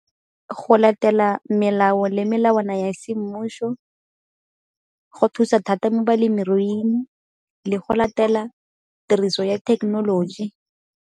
Go latela melao le melawana ya semmušo go thusa thata mo balemiruing le go latela tiriso ya thekenoloji.